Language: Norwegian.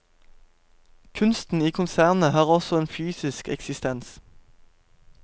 Kunsten i konsernet har også en fysisk eksistens.